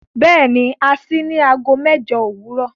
Bẹ́ẹ̀ni, à ṣìí ní àágọ́ mẹ́jọ̀ owurọ